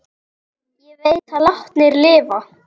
Ég veit að látnir lifa.